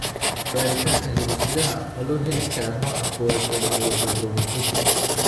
Baaritaanka hidde-sidaha ma loo heli karaa nooca 1 ee neurofibromatosis?